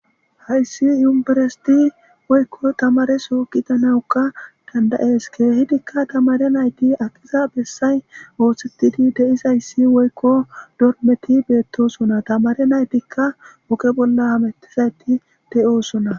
hayssi yumbiresiti woykko tamare sookita nawukka dandayees keehidikka tamare nayti aqiza bessay woothsettidi deis hayssi woykko dormeti beettosona tamare naytikka woqe bolla hamettizayti deyoosona